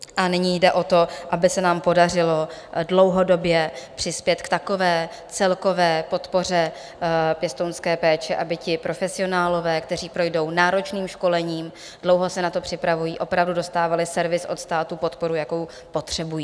A nyní jde o to, aby se nám podařilo dlouhodobě přispět k takové celkové podpoře pěstounské péče, aby ti profesionálové, kteří projdou náročným školením, dlouho se na to připravují, opravdu dostávali servis od státu, podporu, jakou potřebují.